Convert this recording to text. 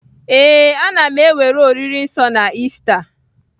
Ee, a na m ewere oriri nsọ na Ista